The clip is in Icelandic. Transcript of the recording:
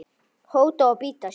hóta að bíta